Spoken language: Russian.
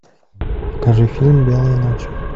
покажи фильм белые ночи